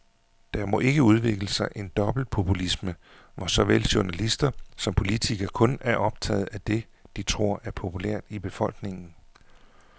Der må ikke udvikle sig en dobbeltpopulisme, hvor såvel journalister som politikere kun er optaget af det, de tror er populært i befolkningen.